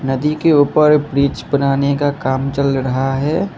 नदी के उपर ब्रिज बनाने का काम चल रहा है।